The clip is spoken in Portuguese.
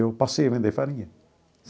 Eu passei a vender farinha.